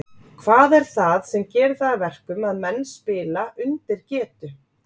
Hvað er það sem gerir það að verkum að menn spila undir getu?